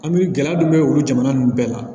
An bɛ gɛlɛya dɔ bɛ olu jamana ninnu bɛɛ la